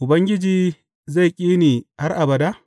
Ubangiji zai ƙi ne har abada?